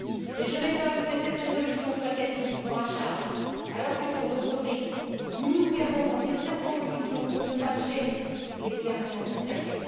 Mais je m'étonne que cette résolution soit quasi uniquement à charge, alors que, pour d'autres pays, nous nous perdons dans des circonvolutions pour ne pas gêner les gouvernements concernés.